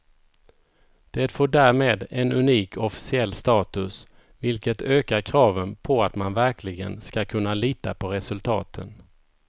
Det får därmed en unik officiell status, vilket ökar kraven på att man verkligen ska kunna lita på resultaten.